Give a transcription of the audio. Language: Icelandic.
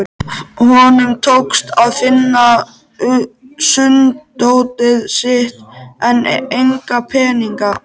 Honum tókst að finna sunddótið sitt en enga peninga.